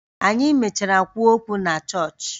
Anyị mechara kwuo okwu na chọọchị